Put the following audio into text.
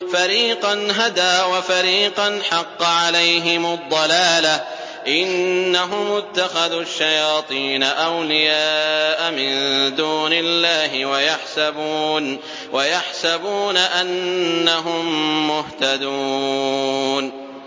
فَرِيقًا هَدَىٰ وَفَرِيقًا حَقَّ عَلَيْهِمُ الضَّلَالَةُ ۗ إِنَّهُمُ اتَّخَذُوا الشَّيَاطِينَ أَوْلِيَاءَ مِن دُونِ اللَّهِ وَيَحْسَبُونَ أَنَّهُم مُّهْتَدُونَ